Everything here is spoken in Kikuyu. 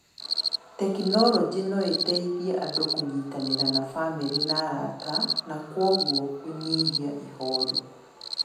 Tekinoronjĩ no ĩteithie andũ kũnyitanĩra na bamĩrĩ na arata, na kwoguo kũnyihia ihooru.